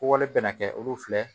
Kowale bɛna kɛ olu filɛ